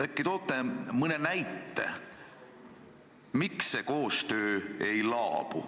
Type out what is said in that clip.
Äkki toote mõne näite, miks see koostöö ei laabu.